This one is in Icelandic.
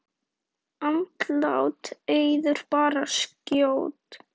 Andlát Auðar bar skjótt að.